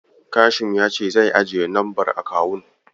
Kashim ya ce zai ajiye lambar akawun.